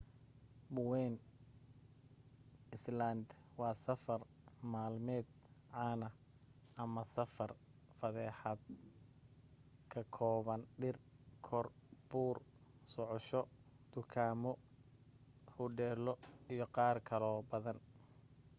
bowen island waa safar maalmeed caana ama safar fasaxeed ka kooban dhir kor buur socosho dukaamo hudheelo iyo qaar kaloo badan